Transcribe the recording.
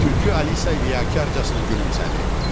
Tülkü Alisa ilıqcasına gülümsədi.